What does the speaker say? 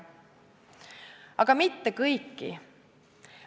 Aga mitte kõiki.